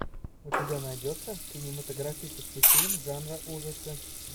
у тебя найдется кинематографический фильм жанра ужасы